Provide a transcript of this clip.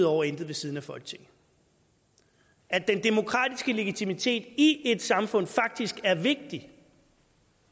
over og intet ved siden af folketinget at den demokratiske legitimitet i et samfund faktisk er vigtig